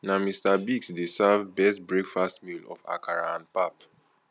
na mr biggs dey serve best breakfast meal of akara and pap